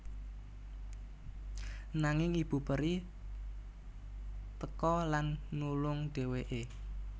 Nanging ibu peri teka lan nulung dhéwéké